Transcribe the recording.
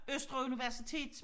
Østre universitet